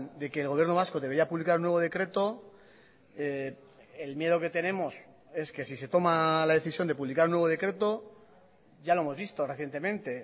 de que el gobierno vasco debería publicar un nuevo decreto el miedo que tenemos es que si se toma la decisión de publicar un nuevo decreto ya lo hemos visto recientemente